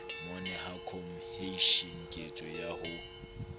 momahano cohesion ketso ya ho